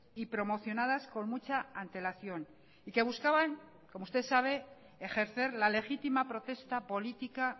y promocionadas con mucha antelación y que buscaban como usted sabe ejercer la legítima protesta política